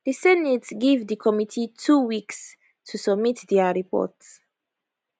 di senate give di committee two weeks to submit dia report